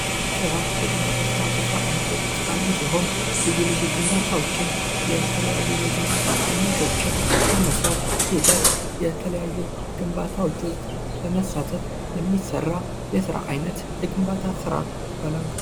ስራ የግንባታ ስራ ከየስራ አይነቶች መካከል አንዱ ሲሆን ልዩ ልዩ ግንባታዎችን የተለያዩ የግንባታ አይነቶችን የመስራት ሂደት የተለያዩ ግንባታዎች ውስጥ በመሳተፍ የሚሰራ ስራ አይነት የግንባታ ስራ ይባላል።